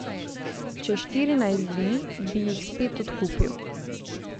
Čez štirinajst dni bi jih spet odkupil.